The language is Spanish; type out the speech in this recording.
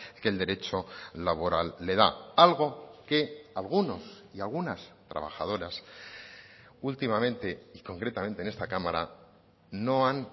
que el derecho laboral le da algo que algunos y algunas trabajadoras últimamente y concretamente en esta cámara no han